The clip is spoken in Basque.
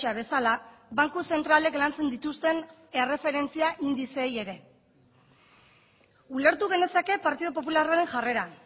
bezala banku zentralek lantzen dituzten erreferentzia indizeei ere ulertu genezake partidu popularraren jarrera